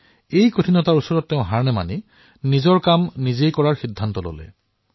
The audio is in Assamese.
এই কঠিনতাৰ পিছতো তেওঁ হাৰ নামানি নিজেই নিজক কাম আৰম্ভ কৰাৰ সিদ্ধান্ত গ্ৰহণ কৰিলে